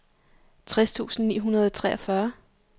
tres tusind ni hundrede og treogfyrre